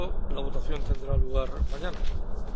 La votación tendrá lugar mañana. Declaraciones por escrito